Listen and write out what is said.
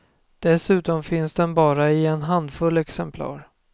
Dessutom finns den bara i en handfull exemplar.